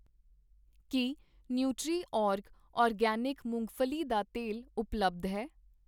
ਕੀ Nutriorg organic ਮੂੰਗਫ਼ਲੀ ਦਾ ਤੇਲ ਉਪਲੱਬਧ ਹੈ?